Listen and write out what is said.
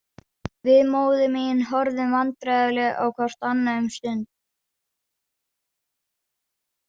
Við móðir mín horfðum vandræðalega á hvort annað um stund.